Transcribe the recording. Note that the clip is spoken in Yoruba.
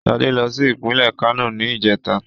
Ṣadé lọ sí ìpínlè Kano ní ìjẹ́ta.